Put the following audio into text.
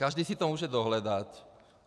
Každý si to může dohledat.